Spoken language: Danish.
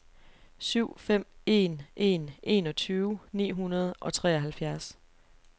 syv fem en en enogtyve ni hundrede og treoghalvfjerds